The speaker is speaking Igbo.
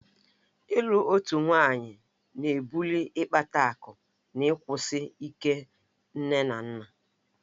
Ịlụ otu nwaanyị ná-ebuli ịkpata akụ na ịkwụsi ike nne na nna